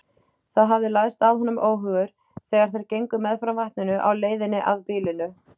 Það hafði læðst að honum óhugur, þegar þeir gengu meðfram vatninu á leiðinni að býlinu.